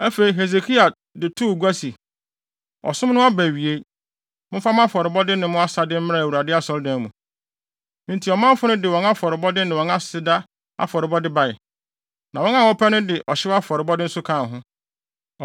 Afei, Hesekia de too gua se, “Ɔsom no aba awiei. Momfa mo afɔrebɔde ne mo aseda mmra Awurade Asɔredan mu.” Enti ɔmanfo no de wɔn afɔrebɔde ne wɔn aseda afɔrebɔde bae, na wɔn a wɔpɛ no de ɔhyew afɔrebɔde nso kaa ho.